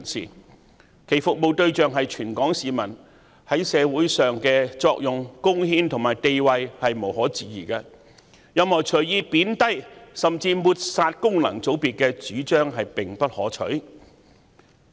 他們的服務對象是全港市民，在社會上的作用、貢獻和地位無可置疑，任何隨意貶低甚至抹煞功能界別的主張也不可取。